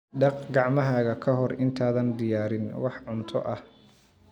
Dhaq gacmahaaga ka hor intaadan diyaarin wax cunto ah.